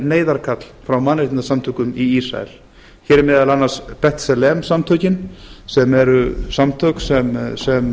neyðarkall frá mannréttindasamtökum í ísrael hér er meðal annars bent salem samtökin sem eru samtök sem